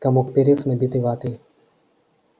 комок перьев набитый ватой